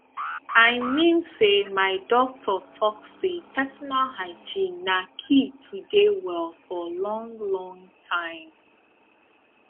i mean say my doctor talk say personal hygiene na key to dey well for long long time